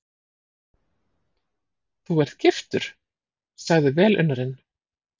Þú ert giftur? sagði velunnarinn.